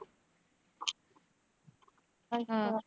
ਅੱਛਾ।